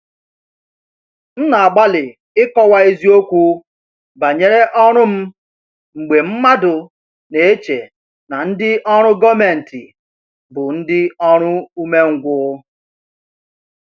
M na-agbalị ịkọwa eziokwu banyere ọrụ m mgbe mmadụ na-eche na ndị ọrụ gọmenti bụ ndị oru ume ngwu.